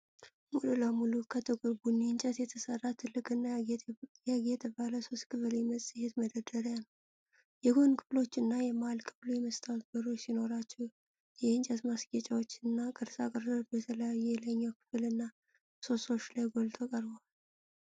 ሙሉ ለሙሉ ከጥቁር ቡኒ እንጨት የተሠራ ትልቅና ያጌጠ ባለ ሦስት ክፍል የመጻሕፍት መደርደሪያ ነው። የጎን ክፍሎቹ እና የመሃል ክፍሉ የመስታወት በሮች ሲኖራቸው፣ የእንጨት ማስጌጫዎችና ቅርጻ ቅርጾች በተለይ የላይኛው ክፍል እና ምሰሶዎች ላይ ጎልተው ቀርበዋል።